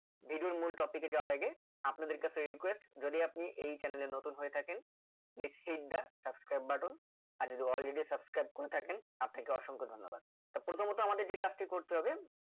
video এর মূল topic এ যাওয়ার আগে আপনাদের কাছে request যদি আপনি এই chanel এ নতুন হয়ে থাকেন please click the subscribe button আর যদি already subscribe করে থাকেন তা থেকে অসংখ্য ধন্যবাদ তা প্রথমত আমাদের যে কাজটি করতে হবে